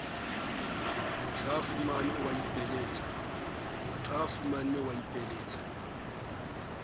motshehafuma o a ipiletsa b